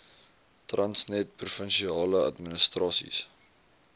transnet provinsiale administrasies